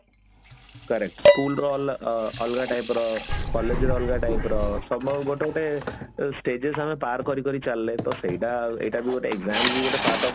correct school ର ଅ ଅଲଗା type ର collage ର ଅଲଗା type ର somehow ଗୋଟେ ଗୋଟେ ଯୋଉ stages ଆମେ ପାର କରି କରି ଚାଲିଲେ ତ ସେଇଟା ଆଉ ଏଇଟା ବି ଗୋଟେ exam ଯୋଉ ଗୋଟେ part of